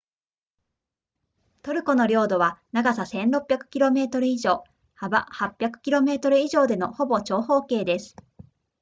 トルコの領土は長さ 1,600 km 以上幅800 km 以上でのほぼ長方形です